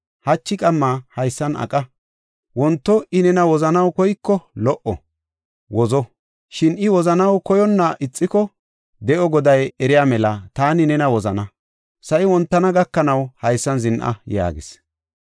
Hachi qamma haysan aqa. Wonto I nena wozanaw koyiko lo77o, wozo. Shin I wozanaw koyonna ixiko, De7o Goday eriya mela, taani nena wozana. Sa7i wontana gakanaw haysan zin7a” yaagis.